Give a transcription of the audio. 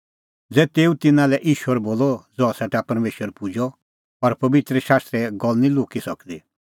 ज़ै तेऊ तिन्नां लै ईश्वर बोलअ ज़हा सेटा परमेशर पुजअ और पबित्र शास्त्रे गल्ल निं लुक्की सकदी